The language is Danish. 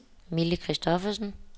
Mille Kristoffersen